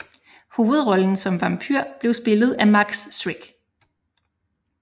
Hovedrollen som vampyr blev spillet af Max Schreck